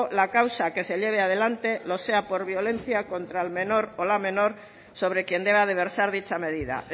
la causa que se lleve adelante lo sea por violencia contra el menor o la menor sobre quien deba de versar dicha medida